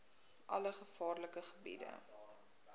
alle gevaarlike gebiede